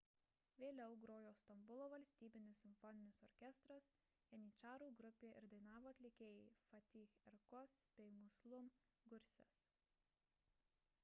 vėliau grojo stambulo valstybinis simfoninis orkestras janyčarų grupė ir dainavo atlikėjai fatih erkoç bei müslüm gürses